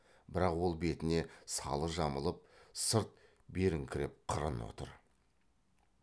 бірақ ол бетіне салы жамылып сырт беріңкіреп қырын отыр